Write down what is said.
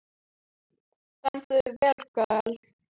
Þú stendur þig vel, Gael!